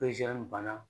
banna